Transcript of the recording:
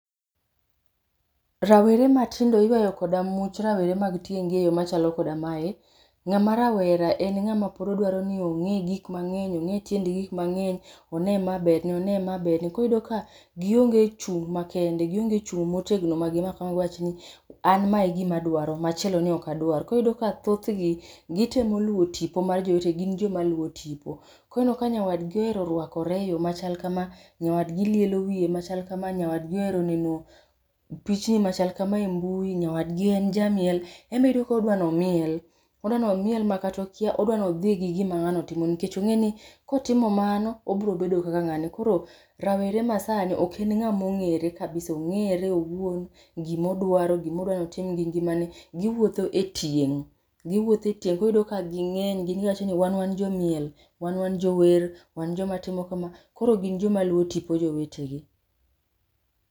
Rawere matindo iyuayo koda much rawere mag tieng' gi e yo machalo koda mae, ng'ama rawera en ng'ama pod odwaro ni ong'e gik mang'eny' ong'e tiend gik mang'eny, one ma berne, one ma berne. Koro iyudo ka, gionge chung' makende, gionge chung' motegno magi giwachni, an ma e gima adwaro, machielo ni ok adwar. Koro iyudo ka thoth gi gitemo luwo tipo mar jowetegi gin joma luwo tipo. Koneno ka nyawadgi ohero rwakore eyo machal kama, nyawadgi lielo wiye machal kama, nyawadgi ohero neno pichni machal kama e mbui, nyawadgi en jamiel, embe iyudo kodwa ni omiel. Oda nomiel makata okia, odwa nodhi gi gima ng'ano timo nikech ong'e ni kotimo mano, obro bedo kaka ng'ane. Koro rawere masani ok en ng'ama ong'ere kabisa ong'ere owuon, gimodwaro, gimodwa notim gi ngimane, giwuotho e tieng'. Giwuothe e tieng' koro iyudo ka ging'eny giwacho ni wan wan jomiel, wan wan jower, wan joma timo kama. Koro gin joma luwo tipo jowetegi